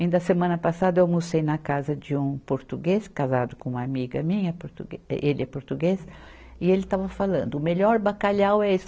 Ainda a semana passada eu almocei na casa de um português, casado com uma amiga minha, portugue, ele é português, e ele estava falando, o melhor bacalhau é esse.